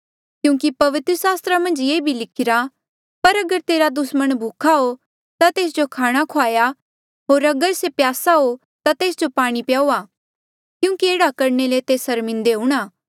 क्यूंकि पवित्र सास्त्रा मन्झ ये भी लिखिरा पर अगर तेरा दुस्मण भूखा हो ता तेस जो खाणा खुआऊआ होर अगर से प्यासा हो ता तेस जो पाणी प्याऊआ क्यूंकि एह्ड़ा करणे ले तेस सर्मिन्दे हुणा